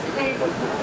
Xeyir olsun.